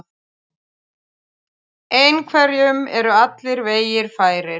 Einhverjum eru allir vegir færir